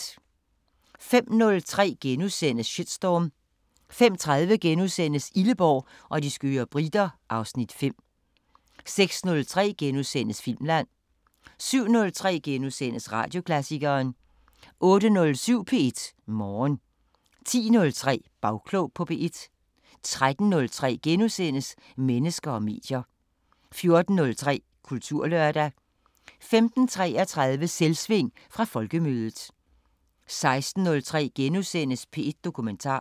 05:03: Shitstorm * 05:30: Illeborg og de skøre briter (Afs. 5)* 06:03: Filmland * 07:03: Radioklassikeren * 08:07: P1 Morgen 10:03: Bagklog på P1 13:03: Mennesker og medier * 14:03: Kulturlørdag 15:33: Selvsving fra Folkemødet 16:03: P1 Dokumentar *